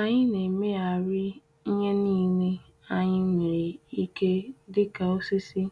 Anyị na-emegharị ihe niile anyị nwere ike dika osisi,